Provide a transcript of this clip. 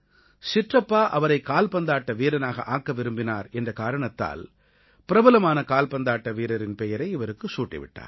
சிற்றப்பா அவரை கால்பந்தாட்ட வீரனாக ஆக்க விரும்பினார் என்ற காரணத்தால் பிரபலமான கால்பந்தாட்ட வீரரின் பெயரை இவருக்குச் சூட்டி விட்டார்